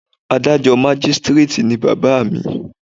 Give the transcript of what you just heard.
Adájọ́ Mágístíréètì ni bàbá à mi.